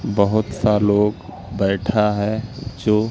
बहोत सा लोग बैठा है जो--